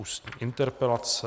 Ústní interpelace